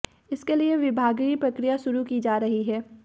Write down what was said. इसके लिए विभागीय प्रक्रिया शुरू की जा रही है